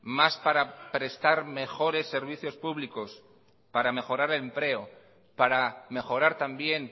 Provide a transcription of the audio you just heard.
más para prestar mejores servicios públicos para mejorar el empleo para mejorar también